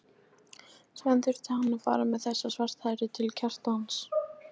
Síðan þurfti hann að fara með þessa svarthærðu til Kjartans.